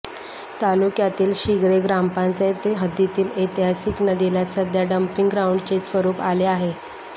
तालुक्यातील शिघ्रे ग्रामपंचायत हद्दीतील ऐतिहासिक नदीला सध्या डम्पिंग ग्राऊंडचे स्वरुप आले आहे